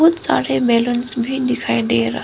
बहुत सारे ब्लूंस भी दिखाई दे रहा--